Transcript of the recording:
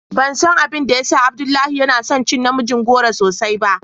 Ban san abin da ya sa Abdullahi ya na son cin namijin goro sosai ba.